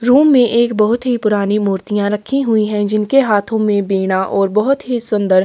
room मे एक बहोत ही पुरानी मूर्तीया रखी हुई है जिनके हाथों मे बिना और बहुत ही सुंदर--